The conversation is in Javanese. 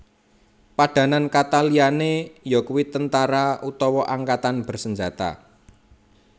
Padanan kata liyané yakuwi tentara utawa angkatan bersenjata